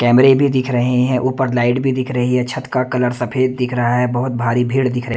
कैमरे भी दिख रहे हैं ऊपर लाइट भी दिख रही है छत का कलर सफेद दिख रहा है बहोत भारी पेड़ दिख रहे--